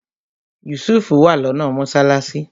Yusuf wà lọ́nà mọ́sálásí